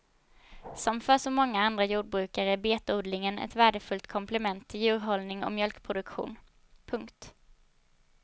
Som för så många andra jordbrukare är betodlingen ett värdefullt komplement till djurhållning och mjölkproduktion. punkt